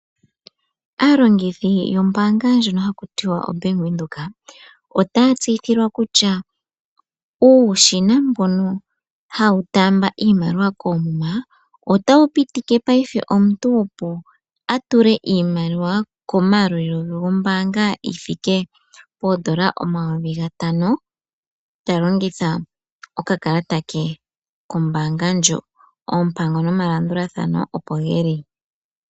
Aalongithi yombaanga ndjono haku tiwa oBank Windhoek , otaya tseyithilwa kutya uushina mbono hawu taamba iimaliwa koomuma , otawu pitike omuntu opo atule iimaliwa komayalulilo ge gombaanga yithike pooN$5000, talongitha okakalata ke kombaanga ndjono. Oompango nomalandulathano opo geli.